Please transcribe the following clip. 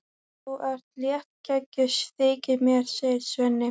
Þú ert léttgeggjuð, þykir mér, segir Svenni.